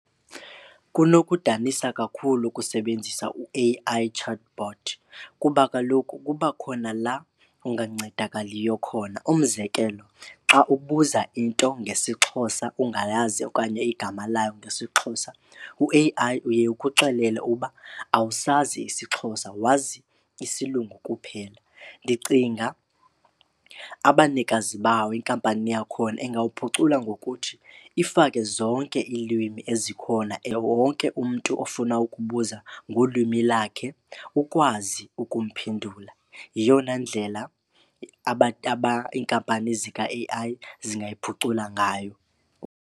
Kunokudanisa kakhulu ukusebenzisa u-A_I chatbot kuba kaloku kuba khona laa ungancedakaliyo khona. Umzekelo xa ubuza into ngesiXhosa ungayazi okanye igama layo ngesiXhosa, u-A_I uye ukuxelela ukuba awusazi isiXhosa wazi isiLungu kuphela. Ndicinga abanikazi bawo, inkampani yakhona, ingawuphucula ngokuthi ifake zonke ilwimi ezikhona wonke umntu ofuna ukubuza ngolwimi lakhe ukwazi ukumphendula. Yiyona ndlela abantu iinkampani zika-A_I zingayiphucula ngayo.